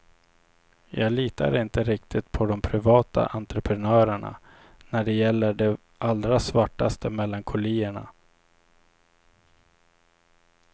Jag litar inte riktigt på de privata entreprenörerna när det gäller de allra svartaste melankolierna.